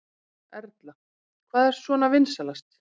Erla: Hvað er svona vinsælast?